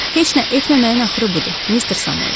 Heç nə etməməyin axırı budur, Mister Samuel.